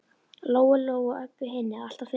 Lóu Lóu og Öbbu hinni alltaf fundist.